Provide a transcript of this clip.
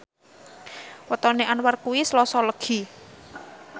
wetone Anwar kuwi Selasa Legi